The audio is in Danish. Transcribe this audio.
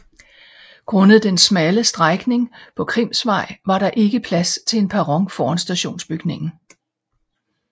Grundet den smalle strækning på Krimsvej var der ikke plads til en perron foran stationsbygningen